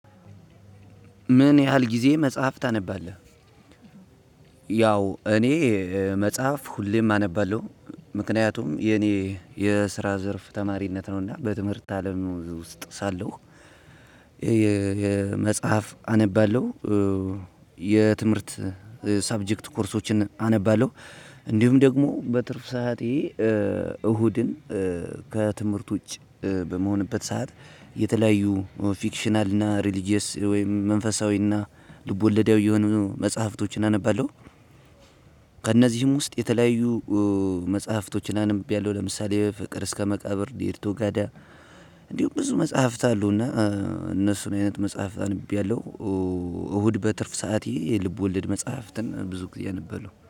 ምን ያህል ጊዜ መጽሐፍ ታነባለህ? ያው እኔ መጽሐፍ ሁሌም አነባለሁ። ምክንያቱም የኔ የስራ ዘርፍ ተማሪነት ነውና በትምህርት አለም ውስጥ ሳለሁ። የመጽሐፍ አነባለሁ። የትምህርት ሰብጀክት ኮርሶችን አነባለሁ። እንዲሁም ደግሞ በትርፍ ሰዓቴ እሁድን ከትምህርት ውጭ በመሆንበት ሰዓት የተለያዩ ፊክሽናል እና ሪሊጅየስ ወይም መንፈሳዊና ልቦለዳዊ የሆኑ መጽሐፍቶችን አነባለሁ። ከእነዚህም ውስጥ የተለያዩ መጽሐፍቶችን አንብቢያለው ለምሳሌ ፍቅር እስከ መቃብር ዴርቶ ጋዳ። እንዲሁም ብዙ መጽሐፍት አሉና እነሱን አይነት መጽሐፍት አንብቤያለሁ። እሁድ በትርፍ ሰዓቴ የልብ ወለድ መጽሐፍትን ብዙ ጊዜ እነባለው